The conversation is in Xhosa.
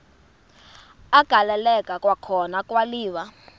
agaleleka kwakhona kwaliwa